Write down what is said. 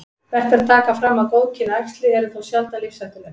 Vert er að taka fram að góðkynja æxli eru þó sjaldan lífshættuleg.